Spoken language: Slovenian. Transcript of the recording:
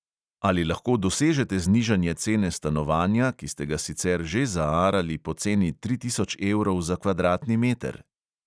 Ali lahko dosežete znižanje cene stanovanja, ki ste ga sicer že zaarali po ceni tri tisoč evrov za kvadratni meter?